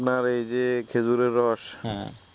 আপনার এই যে খেজুরের রস হ্যা